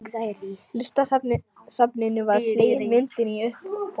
Listasafninu var slegin myndin á uppboði.